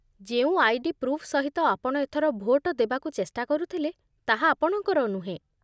ଯେଉଁ ID. Proof ସହିତ ଆପଣ ଏଥର ଭୋଟ ଦେବାକୁ ଚେଷ୍ଟା କରୁଥିଲେ, ତାହା ଆପଣଙ୍କର ନୁହେଁ